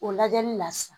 O lajɛli la sisan